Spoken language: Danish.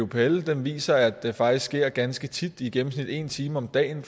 bupl viser at det faktisk sker ganske tit i gennemsnit en time om dagen